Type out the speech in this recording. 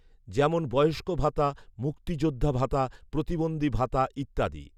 যেমন বয়ষ্ক ভাতা, মুক্তিযোদ্ধা ভাতা, প্রতিবন্ধী ভাতা ইত্যাদি